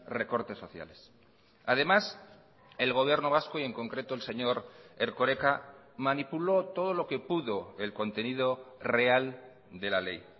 recortes sociales además el gobierno vasco y en concreto el señor erkoreka manipuló todo lo que pudo el contenido real de la ley